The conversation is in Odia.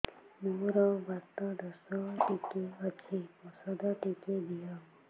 ମୋର୍ ବାତ ଦୋଷ ଟିକେ ଅଛି ଔଷଧ ଟିକେ ଦିଅ